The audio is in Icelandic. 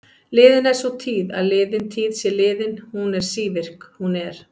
Liðin er sú tíð að liðin tíð sé liðin, hún er sívirk, hún er.